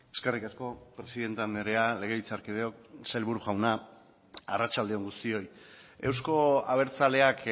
eskerrik asko presidente andrea legebiltzarkideok sailburu jauna arratsalde on guztioi euzko abertzaleak